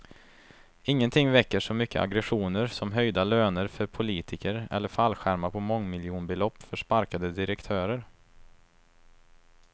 Ingenting väcker så mycket aggressioner som höjda löner för politiker eller fallskärmar på mångmiljonbelopp för sparkade direktörer.